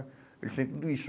Eles têm tudo isso.